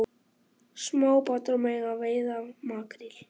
Smábátar mega veiða makríl